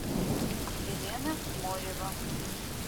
елена морева